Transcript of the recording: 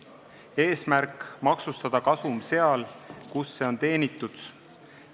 Eesmärk on maksustada kasum seal, kus see on teenitud.